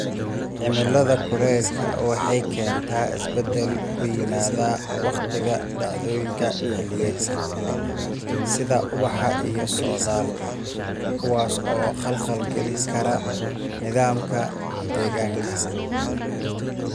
Cimilada kuleylku waxay keentaa isbeddel ku yimaada wakhtiga dhacdooyinka xilliyeedka, sida ubaxa iyo socdaalka, kuwaas oo khalkhal galin kara nidaamka deegaanka.